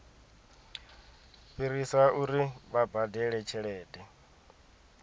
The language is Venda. fhirisa uri vha badele tshelede